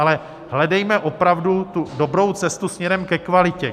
Ale hledejme opravdu tu dobrou cestu směrem ke kvalitě.